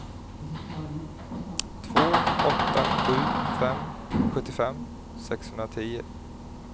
två åtta sju fem sjuttiofem sexhundratio